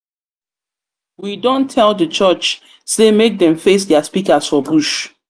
we don tell di church sey make dem sey make dem face their speakers for bush.